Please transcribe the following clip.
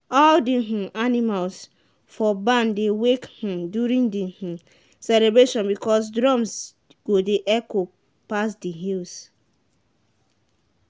all the um animals for barn dey wake um during the um celebration because drums go dey echo pass the hills.